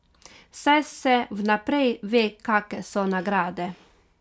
Saj se vnaprej ve kake so nagrade.